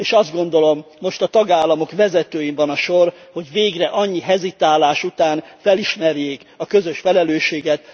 És azt gondolom, most a tagállamok vezetőin van a sor, hogy végre annyi hezitálás után felismerjék a közös felelősséget.